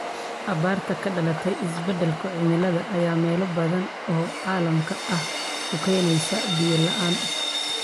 Abaarta ka dhalatay isbadalka cimilada ayaa meelo badan oo caalamka ah ku keenaysa biyo la�aan.